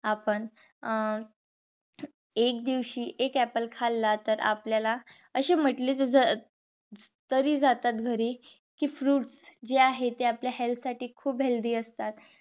आपण अं एक दिवशी एक apple खाल्ला तर आपल्याला असे म्हंटले जात. अं तरी जातात घरी कि fruits जे आहेत ते आपल्या health साठी खूप healthy असतात.